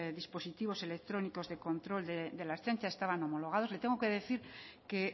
dispositivos electrónicos de control de la ertzaintza estaban homologados le tengo que decir que